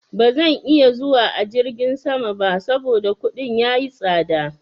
Ba zan iya zuwa a jirgin sama ba saboda kuɗin ya yi tsaɗa.